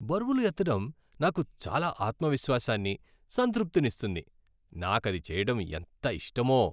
బరువులు ఎత్తడం నాకు చాలా ఆత్మవిశ్వాసాన్ని, సంతృప్తినిస్తుంది. నాకది చేయడం ఎంత ఇష్టమో.